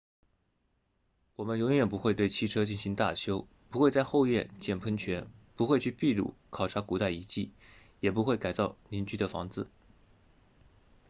我们永远不会对汽车进行大修不会在后院建喷泉不会去秘鲁考察古代遗迹也不会改造邻居的房子